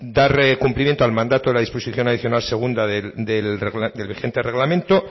dar cumplimiento al mandato de la disposición adicional segunda del vigente reglamento